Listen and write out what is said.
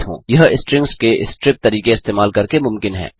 यह स्ट्रिंग्स के स्ट्रिप तरीके इस्तेमाल करके मुमकिन है